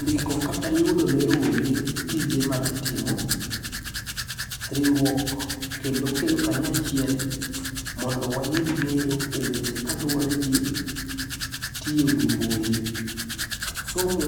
Ndiko kata yudo ne rowere tije magitimo, riwruok kendo kelo kanyo achiel mondo wayud ng'eyo e weche kaluwore gi tiyo gi mbui. Somo,